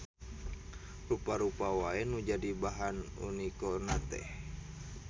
Rupa-rupa wae nu jadi bahan uniko na teh.